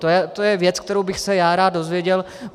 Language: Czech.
To je věc, kterou bych se já rád dozvěděl.